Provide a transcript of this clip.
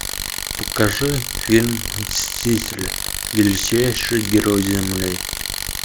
покажи фильм мстители величайшие герои земли